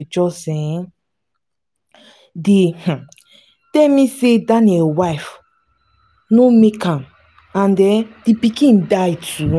uche just um dey um tell me say daniel wife no make am and um the pikin die too